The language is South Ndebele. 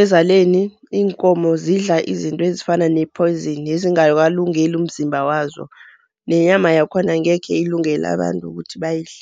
ezaleni iinkomo zidla izinto ezifana ne-poison ezingakalungeli umzimba wazo, nenyama yakhona angekhe ilungele abantu ukuthi bayidle.